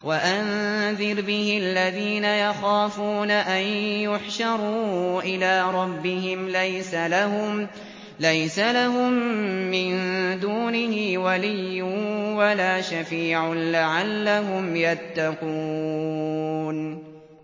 وَأَنذِرْ بِهِ الَّذِينَ يَخَافُونَ أَن يُحْشَرُوا إِلَىٰ رَبِّهِمْ ۙ لَيْسَ لَهُم مِّن دُونِهِ وَلِيٌّ وَلَا شَفِيعٌ لَّعَلَّهُمْ يَتَّقُونَ